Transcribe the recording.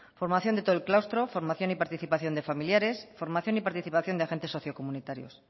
formación de todo el claustro formación y participación de familiares formación y participación de agentes socio comunitarios